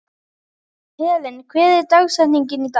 Helen, hver er dagsetningin í dag?